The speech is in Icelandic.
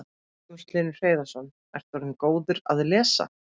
Magnús Hlynur Hreiðarsson: Ertu orðinn góður að lesa?